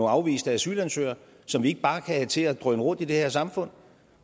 afviste asylansøgere som vi ikke bare kan have til at drøne rundt i det her samfund